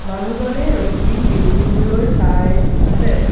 মানুহজনে ৰখি বিল্ডিংটোলৈ চাই আছে।